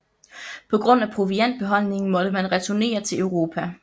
På grund af proviantbeholdningen måtte man returnere til Europa